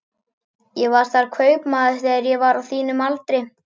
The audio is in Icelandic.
Ég var þar kaupmaður þegar ég var á þínum aldri.